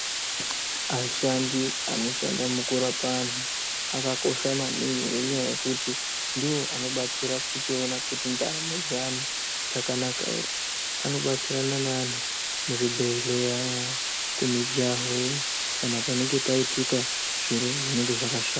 Ashandi anoshanda mukurapa antu akakosha maningi ngekuti ndivo vanobatsira kuona kuti ndaramo dzevantu dzakanaka ere. Vanobatsirana nevantu muzvibhehlera kumijaho kana kunenge kwaitika zviro zvakashata.